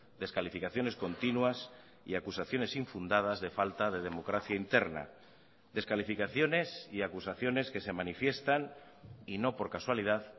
descalificaciones continuas y acusaciones infundadas de falta de democracia interna descalificaciones y acusaciones que se manifiestan y no por casualidad